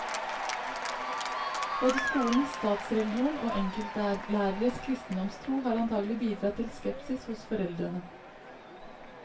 Både skolens statsreligion og enkeltlæreres kristendomstro har antagelig bidratt til skepsis hos foreldrene.